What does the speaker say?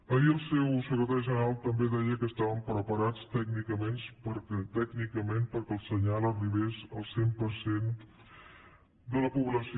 ahir el seu secretari general també deia que estaven preparats tècnicament perquè el senyal arribés al cent per cent de la població